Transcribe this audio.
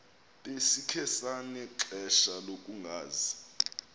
besikhe sanexesha lokungazi